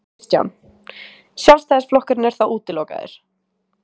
Kristján: Sjálfstæðisflokkurinn er þá útilokaður?